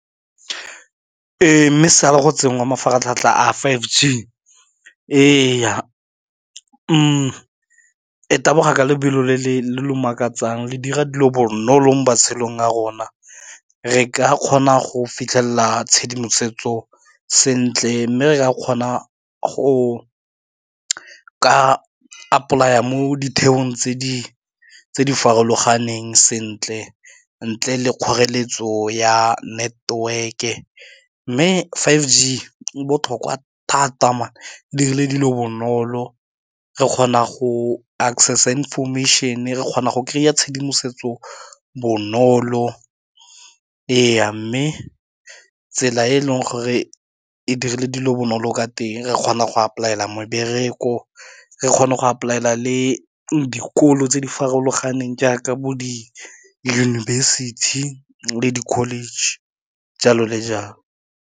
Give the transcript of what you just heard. Ee mme sala go tsenngwa mafaratlhatlha a five G, e ya e taboga ka lebelo lo le makatsang le dira dilo bonolo mo matshelong a rona, re ka kgona go fitlhelela tshedimosetso sentle, mme re ka kgona go ka apply mo ditheong tse di farologaneng sentle, ntle le kgoreletso ya network-e mme five G e botlhokwa thata man e dirile dilo bonolo re kgona go access information-e re kgona go kry-a tshedimosetso bonolo ee mme tsela e e leng gore e dirile dilo bonolo ka teng re kgona go a polaela mebereko re kgona go apply-ela le dikolo tse di farologaneng jaaka bo di yunibesithi le di-college jalo le jalo.